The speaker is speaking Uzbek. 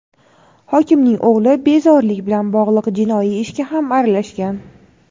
hokimning o‘g‘li bezorilik bilan bog‘liq jinoiy ishga ham aralashgan.